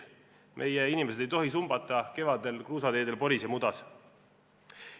Meie inimesed ei tohi sumbata kevadel kruusateedel poris ja mudas.